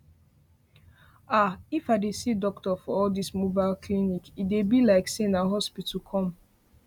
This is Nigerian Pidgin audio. ahh if i dey see doctor for all this mobile clinic e dey be like say na hospital come